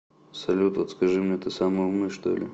салют вот скажи мне ты самый умный что ли